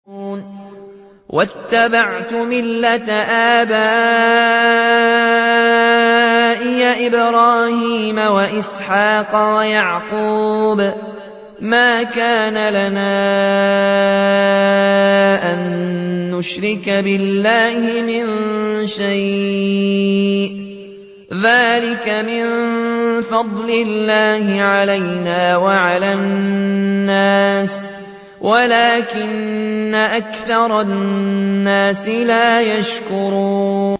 وَاتَّبَعْتُ مِلَّةَ آبَائِي إِبْرَاهِيمَ وَإِسْحَاقَ وَيَعْقُوبَ ۚ مَا كَانَ لَنَا أَن نُّشْرِكَ بِاللَّهِ مِن شَيْءٍ ۚ ذَٰلِكَ مِن فَضْلِ اللَّهِ عَلَيْنَا وَعَلَى النَّاسِ وَلَٰكِنَّ أَكْثَرَ النَّاسِ لَا يَشْكُرُونَ